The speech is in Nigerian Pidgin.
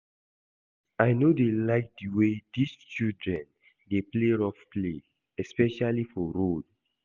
I no dey like the way dis children dey play rough play especially for road